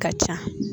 Ka ca